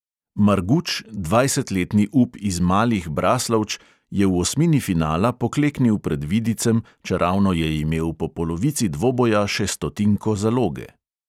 Marguč, dvajsetletni up iz malih braslovč, je v osmini finala pokleknil pred vidicem čeravno je imel po polovici dvoboja še stotinko zaloge.